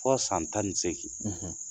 Ko san tan ni segin